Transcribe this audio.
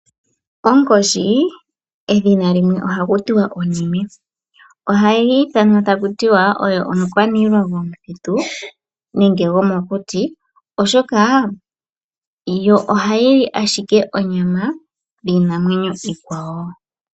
Onkoshi, edhina limwe ohaku tiwa onime. Ohayi ithanwa taku tiwa oyo omu kwaniilwa gomu thitu nenge yomo kuti, oshoka yo ohayili ashike onyama yiinamwenyo iikwawo.